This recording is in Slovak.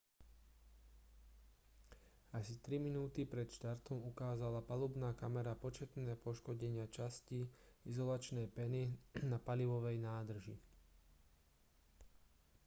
asi 3 minúty pred štartom ukázala palubná kamera početné poškodenia častí izolačnej peny na palivovej nádrži